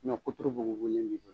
Ɲɔ kuturu bugubugulen bi fɛ